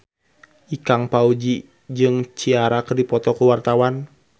Ikang Fawzi jeung Ciara keur dipoto ku wartawan